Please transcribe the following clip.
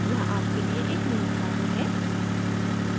यहाँ आपके लिए एक नियत कार्य है